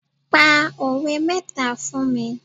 Pa òwe mẹ́ta fún mi.